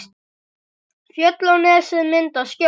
Fjöll og nesið mynda skjól.